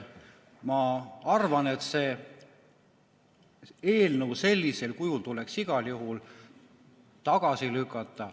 Ma arvan, et see eelnõu sellisel kujul tuleks igal juhul tagasi lükata.